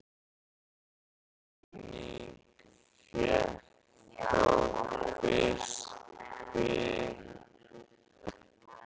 Þessi kenning fékk þó fyrst byr þegar Þjóðverjinn